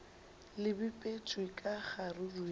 le bipetšwe ka kgaruru ya